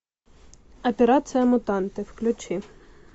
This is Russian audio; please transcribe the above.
операция мутанты включи